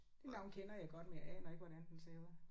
Det navn kender jeg godt men jeg aner ikke hvordan den ser ud